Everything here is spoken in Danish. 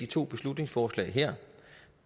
to beslutningsforslag